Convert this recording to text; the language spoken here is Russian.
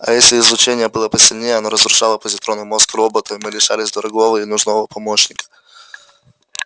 а если излучение было посильнее оно разрушало позитронный мозг робота и мы лишались дорогого и нужного помощника